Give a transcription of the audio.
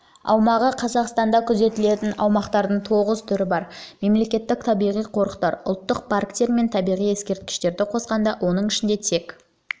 аумағы қазақстанда күзетілетін аумақтардың тоғыз түрі бар мемлекеттік табиғи қорықтар ұлттық парктер мен табиғи ескерткіштерді қосқанда оның ішінде тек